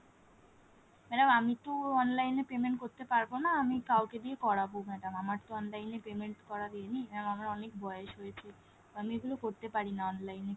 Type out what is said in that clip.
madam আমি তো online এ payment করতে পারবো না আমি কাওকে দিয়ে করবো madam আমার তো online এ payment করা দিইনি mam আমার অনেক বয়েস হয়েছে আমি এগুলো করতে পারিনা online এ কিছু,